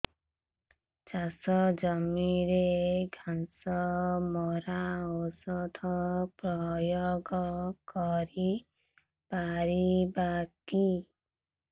ଚାଷ ଜମିରେ ଘାସ ମରା ଔଷଧ ପ୍ରୟୋଗ କରି ପାରିବା କି